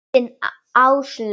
Þín Áslaug.